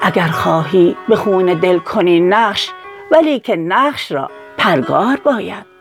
اگر خواهی به خون دل کنی نقش ولیکن نقش را پرگار باید